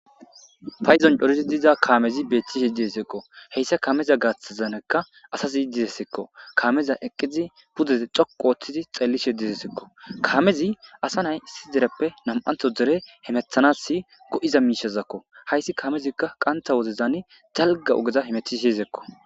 Paydan cooridi diiza kaamezi bettishe dessiko hessa kammeza gaththanika asazi desseko kaamezi eqqidi pude dhoqu ottidi xellishe desseko kaamezi asa na'ay issi deerepe nam'antho deere hemettanas goizza mishshazako hayssi kaamezikka qaanththa woddezan daalgga ogge hametishe desseko